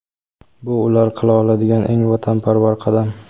bu ular qila oladigan "eng vatanparvar qadam".